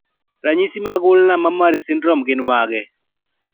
Ranyisi mag Ulnar mammary syndrome gin mage?